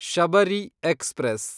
Shabari express